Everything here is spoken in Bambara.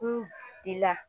N dila